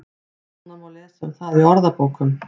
Nánar má lesa um það í orðabókum.